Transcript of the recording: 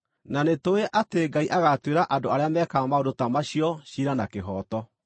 Na nĩtũũĩ atĩ Ngai agaatuĩra andũ arĩa mekaga maũndũ ta macio ciira na kĩhooto.